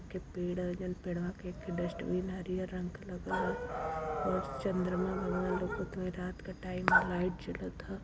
के पेड़ ह जन पेड़वा के डस्टबिन हरियर रंग का लगल ह और चन्द्रमा भव्य लगत ह रात का टाइम ह लाइट जलत ह।